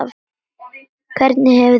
Hvernig hefur þér liðið?